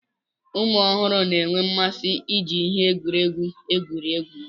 ụmụ ọhụrụ na-enwe mmasị iji ihe egwuregwu egwuri egwu